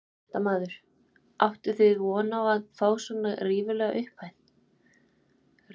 Fréttamaður: Áttuð þið von á að fá svona ríflega upphæð?